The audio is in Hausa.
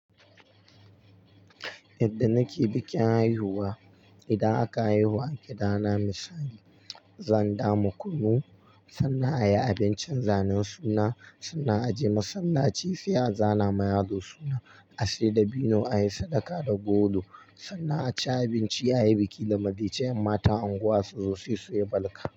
Yadda nake bikin haihuwa, idan aka haihu a gida na misali, zan dama kunu, sannan a yi abincin zanen suna, sannan a je masallaci sai a zana ma yaro suna. A sai dabino a yi sadaka da golo, sannan a ci abinci a yi biki da marece. Yan matan unguwa su zo sai su yi balka.